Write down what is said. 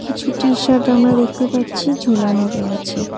কিছু টি-শার্ট আমরা দেখতে পাচ্ছি ঝোলানো রয়েছে।